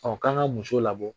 k'an ka muso labɔ,